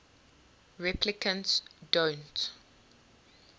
replicants don't